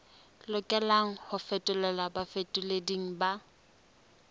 lokelang ho fetolelwa bafetoleding ba